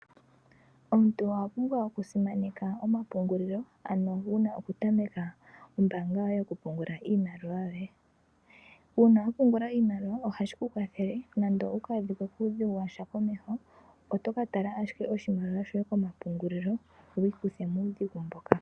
Omuntu owa pumbwa oku simaneka oma pungulilo, ano wuna oku tameka ombaanga yoye yoku pungula iimaliwa yoye, uuna wa pungula iimaliwa ohashi ku kwathele, nande owu ka adhike kuudhigu washa komeho, oto ka tala ashike oshimaliwa shoye ko mapungulilo, wu ikuthe muudhigu mboka.